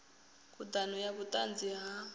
khud ano ya vhutanzi ha